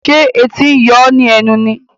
Ṣé etí ń yóò ní ẹnu ni?